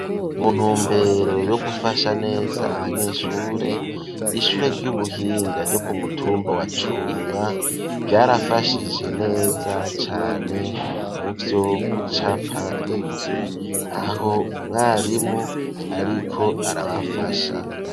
Mu ntumbero yo gufasha neza abanyeshure ishure ry'ubuhinga ryo kumutumba wa cumba ryarafashije neza cane muvyo gucapa inzu aho umwarimu ariko arabafasha.